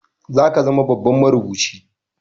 Zaka zama babban marubuci